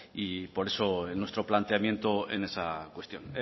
y por eso nuestro planteamiento en esa cuestión